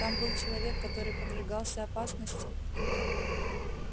там был человек который подвергался опасности